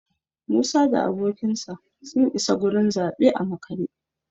Musa da abokinsa sun isa gurin zaɓe a makare